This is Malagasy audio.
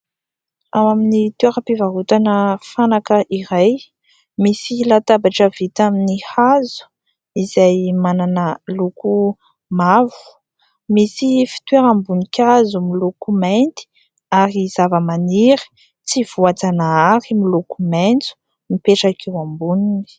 Ao amin'ny toeram-pivarotana fanaka iray misy latabatra vita amin'ny hazo izay manana loko mavo, misy fitoeram-boninkazo miloko mainty ary zavamaniry tsy voajanahary miloko maitso mipetraka eo amboniny.